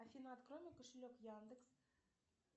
афина открой мой кошелек яндекс